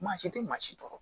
Maa si tɛ maa si tɔɔrɔ